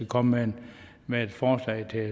komme med forslag til